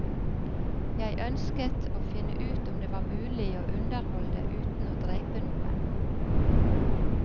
Jeg ønsket å finne ut om det var mulig å underholde uten å drepe noen.